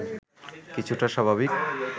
কিছুটা স্বাভাবিক